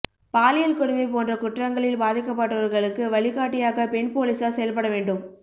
பாலியல் கொடுமை போன்ற குற்றங்களில் பாதிக்கப்பட்டவர்களுக்கு வழிகாட்டியாக பெண் போலீசார் செயல்பட வேண்டும்